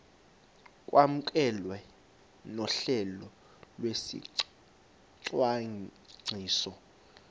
kwamkelwe nohlelo lwesicwangciso